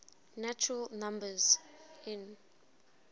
natural numbers n